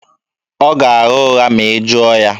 Ọ ga-agha ụgha ma ị jụọ ya.